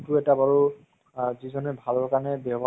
হয় মানে চাই পালে ভাল লাগে আমাৰ আমি